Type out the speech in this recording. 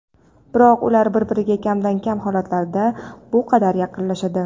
Biroq ular bir-biriga kamdan-kam holatda bu qadar yaqinlashadi.